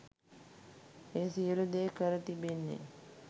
ඒ සියලු දේ කර තිබෙන්නේ්